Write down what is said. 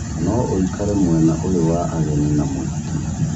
no ũikare mwena ũyũ wa ageni a mũhiki